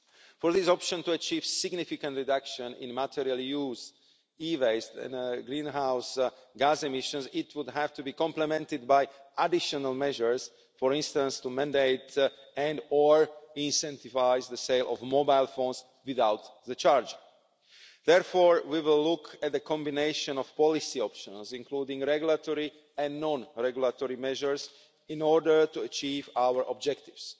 For this option to achieve significant reduction in material use, e-waste and greenhouse gas emissions, it would have to be complemented by additional measures, for instance to mandate and or incentivise the sale of mobile phones without the charger. Therefore, we will look at a combination of policy options, including regulatory and non regulatory measures, in order to achieve our objectives.